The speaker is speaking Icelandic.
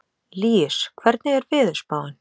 Líus, hvernig er veðurspáin?